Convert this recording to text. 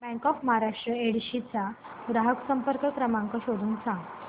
bank of Maharashtra Yedshi चा ग्राहक संपर्क क्रमांक शोधून सांग